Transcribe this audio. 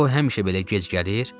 O, həmişə belə gec gəlir?